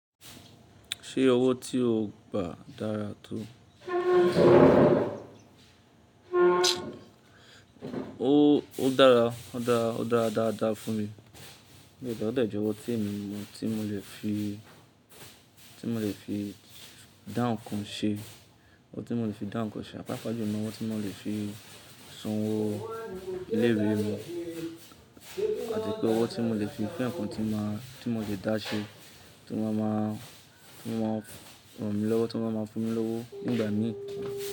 Ṣé owó tí o gbà dára tó? O dára, o dára dáadáa fún mi, ó dàjọ́ owó tí èmi mọ tí mo lè fi, tí mo lè fi dá ǹkan ṣe, owó tí mo lè fi dá ǹkan ṣe, àpáàpàá jùẹ́ ni owó tí mo lè fi san owó ilé ìwé mi àti pé owó tí mo lè fi fún ǹkan tí mo máa, tí mo ti dá ṣe, tí wọ́n máa máa, tí wọ́n máa ràn mí lọ́wọ́, tí wọ́n máa máa fun mí lọ́wọ́ nígbà mí.